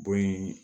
Bon in